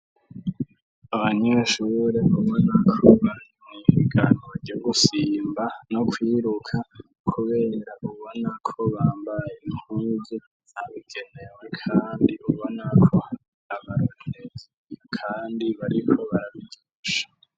Abanyeshure bamwe nakuba n ibganur ryo gusimba no kwiruka kubenera ubona ko bambaye inkuge sabigenewe kandi bubona ko abaronesi kandi bariko barabigisha.